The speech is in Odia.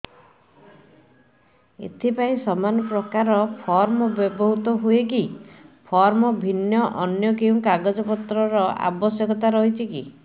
ଏଥିପାଇଁ ସମାନପ୍ରକାର ଫର୍ମ ବ୍ୟବହୃତ ହୂଏକି ଫର୍ମ ଭିନ୍ନ ଅନ୍ୟ କେଉଁ କାଗଜପତ୍ରର ଆବଶ୍ୟକତା ରହିଛିକି